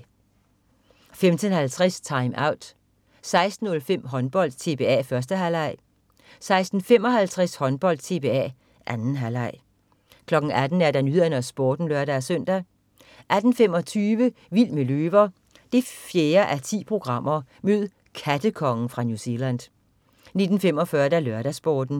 15.50 TimeOut 16.05 Håndbold: TBA, 1. halvleg 16.55 Håndbold: TBA, 2. halvleg 18.00 Nyhederne og Sporten (lør-søn) 18.25 Vild med løver 4:10. Mød "kattekongen" fra New Zealand 19.45 LørdagsSporten